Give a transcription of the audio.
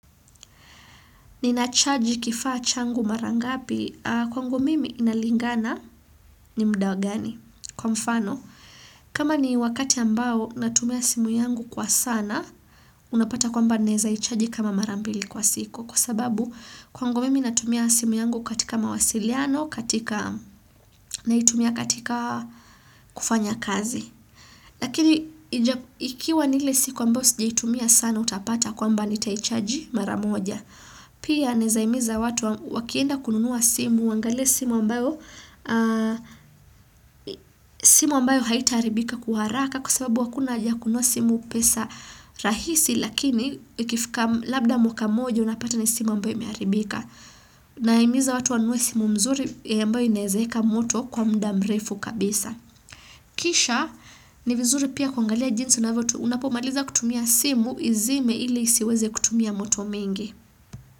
Ninachaji kifaa changu marangapi kwangu mimi inalingana ni muda gani. Kwa mfano, kama ni wakati ambao natumia simu yangu kwa sana, unapata kwamba neza ichaji kama marambili kwa siku. Kwa sababu kwangu mimi natumia simu yangu katika mawasiliano, katika na itumia katika kufanya kazi. Lakini ikiwa ni ile siku ambao sijaitumia sana utapata kwamba nitaichaji maramoja. Pia naezahimiza watu wakienda kununua simu, waangalie simu ambayo haitaharibika kwa haraka kwa sababu hakuna haja ya kununua simu pesa rahisi lakini labda mwaka moja unapata ni simu ambayo imeharibika. Na himiza watu wa nunue simu mzuri ya ambayo inaezeka moto kwa muda mrefu kabisa. Kisha ni vizuri pia kuangalia jinsi unavyo tu unapomaliza kutumia simu izime ili isiweze kutumia moto mengi.